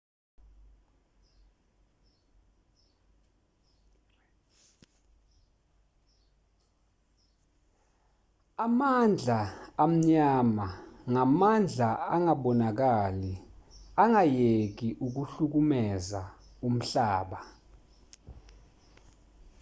amandla amnyama ngamandla angabonakali angayeki ukuhlukumeza umhlaba